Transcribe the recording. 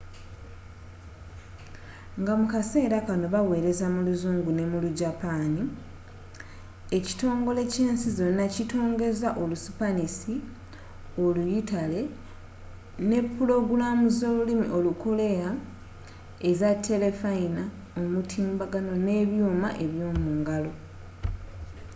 nga mu kaseera kanno baweereza mu luzungu ne mu lu japani ekitongole kyensi zonna kitongoza olu sipanisi oluyitale ne pulogulamu zolulimi olukoleya eza telefayina omutimbagano nebyuuma eb'yomungalo